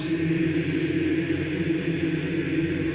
í